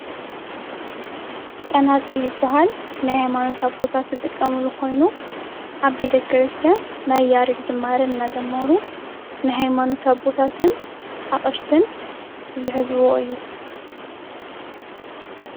ፀናፅል ይበሃል ናይ ሃይማኖት ኣቦታት ዝጥቀምሉ ኮይኑ ኣብ ቤተ-ክርስትያን ናይ ያሬድ ዝማሬ እንዳዘመሩ ናይ ሃይማኖት ኣቦታት ኣቕሽትን ዝሕዝዎ እዩ።